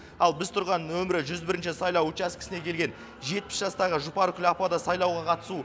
ал біз тұрған нөмірі жүз бірінші сайлау учаскесіне келген жетпіс жастағы жұпаргүл апа да сайлауға қатысу